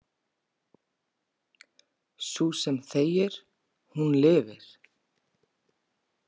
Sú sem þegir, hún lifir.